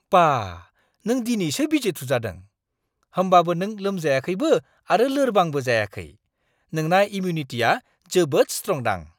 बा! नों दिनैसो बिजि थुजादों, होमबाबो नों लोमजायाखैबो आरो लोरबांबो जायाखै। नोंना इमिउनिटिया जोबोद स्ट्रंदां।